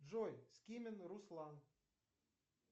джой скимин руслан